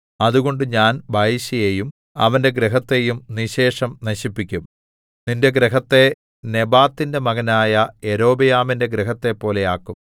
അതുകൊണ്ട് ഞാൻ ബയെശയെയും അവന്റെ ഗൃഹത്തെയും നിശ്ശേഷം നശിപ്പിക്കും നിന്റെ ഗൃഹത്തെ നെബാത്തിന്റെ മകനായ യൊരോബെയാമിന്റെ ഗൃഹത്തെപ്പോലെ ആക്കും